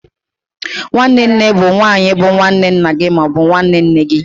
Nwanne nne bụ nwanyi bu nwanne nna gị ma ọ bụ nne gị.